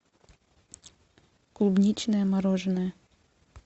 клубничное мороженое